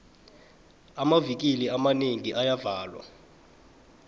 amavikili amanengi ayavalwa